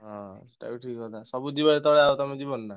ହଁ ହଉ ଠିକ କଥା ସବୁ ଯିବେ ଯେତବେଳେ ଆଉ ତମେ ଯିବନି ନା।